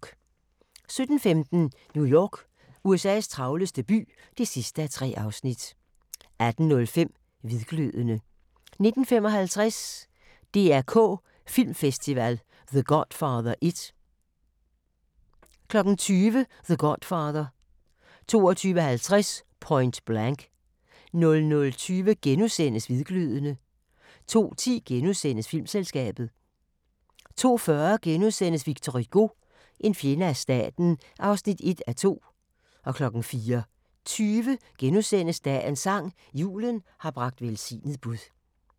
17:15: New York – USA's travleste by (3:3) 18:05: Hvidglødende 19:55: DR K Filmfestival – The Godfather I 20:00: The Godfather 22:50: Point Blank 00:20: Hvidglødende * 02:10: Filmselskabet * 02:40: Victor Hugo – en fjende af staten (1:2)* 04:20: Dagens sang: Julen har bragt velsignet bud *